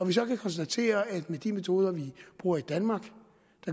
vi så kan konstatere at med de metoder vi bruger i danmark